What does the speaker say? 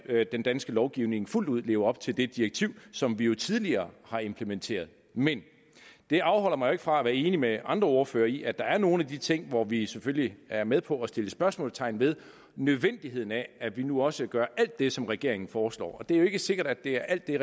den danske lovgivning fuldt ud lever op til det direktiv som vi jo tidligere har implementeret men det afholder mig jo ikke fra at være enig med andre ordførere i at der er nogle af de ting hvor vi selvfølgelig er med på at sætte spørgsmålstegn ved nødvendigheden af at vi nu også gør alt det som regeringen foreslår det er jo ikke sikkert at det er alt det